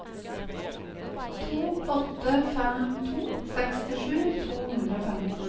to åtte fem to sekstisju to hundre og femten